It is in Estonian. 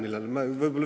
Mina ei mäleta.